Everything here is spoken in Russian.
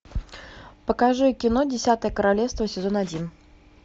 покажи кино десятое королевство сезон один